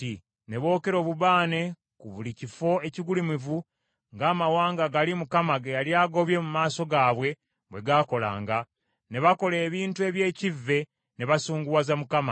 Ne bookera obubaane ku buli kifo ekigulumivu ng’amawanga gali Mukama ge yali agobye mu maaso gaabwe bwe gaakolanga. Ne bakola ebintu eby’ekivve ne basunguwaza Mukama .